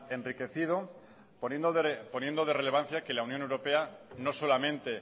enriquecido poniendo de relevancia que la unión europea no solamente